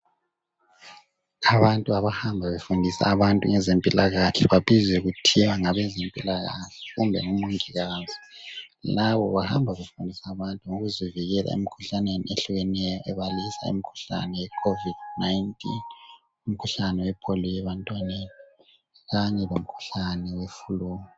Abantu abahamba befundisa abantu ngezempilakahle babizwa kuthiwa ngabezempilakahle kumbe omongikazi. Labo bahamba befundisa abantu ngokuzivikela emkhuhlaneni ehlukeneyo ebalisa umkhuhlane we COVID-19, umkhuhlane wePolio ebantwaneni Kanye lomkhuhlane we flu.